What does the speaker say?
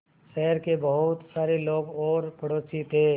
शहर के बहुत सारे लोग और पड़ोसी थे